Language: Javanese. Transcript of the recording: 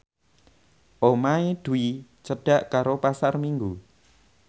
omahe Dwi cedhak karo Pasar Minggu